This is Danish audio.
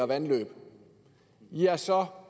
vandløb ja så